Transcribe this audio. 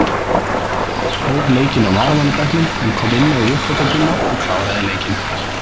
Arnór hóf leikinn á varamannabekknum en kom inná í uppbótartíma og kláraði leikinn.